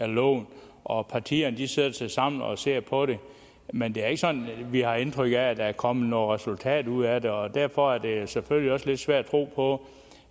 loven og partierne sætter sig sammen og ser på det men det er ikke sådan at vi har indtryk at der er kommet noget resultatet ud af det og derfor er det selvfølgelig også lidt svært at tro på